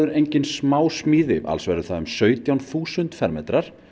engin smásmíði alls verður það um sautján þúsund fermetrar